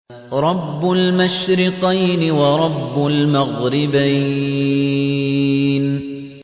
رَبُّ الْمَشْرِقَيْنِ وَرَبُّ الْمَغْرِبَيْنِ